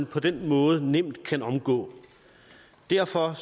på den måde nemt kan omgå derfor